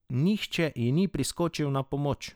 Nihče ji ni priskočil na pomoč.